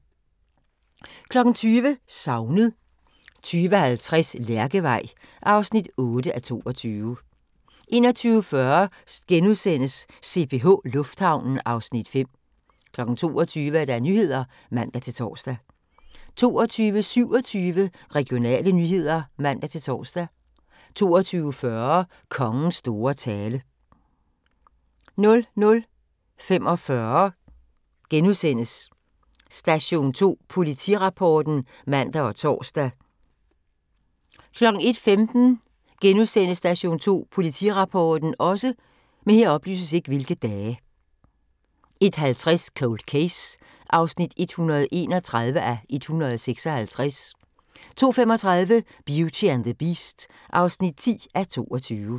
20:00: Savnet 20:50: Lærkevej (8:22) 21:40: CPH Lufthavnen (Afs. 5)* 22:00: Nyhederne (man-tor) 22:27: Regionale nyheder (man-tor) 22:40: Kongens store tale 00:45: Station 2 Politirapporten *(man og tor) 01:15: Station 2 Politirapporten * 01:50: Cold Case (131:156) 02:35: Beauty and the Beast (10:22)